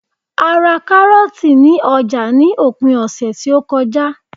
a ra karọọti ni oja ni opin ọsẹ ti o koja